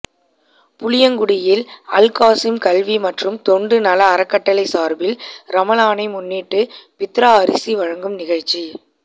புளியங்குடியில் அல்காஸிம் கல்வி மற்றும் தொண்டு நல அறக்கட்டளை சார்பில் ரமலானை முன்னிட்டு பித்ரா அரிசி வழங்கும் நிகழ்ச்சி